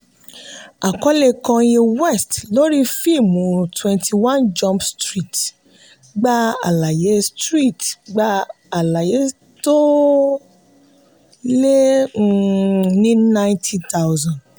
àkọlé kanye west lórí fíìmù twenty one jump street gba àlàyé street gba àlàyé tó lé um ní ninety thousand.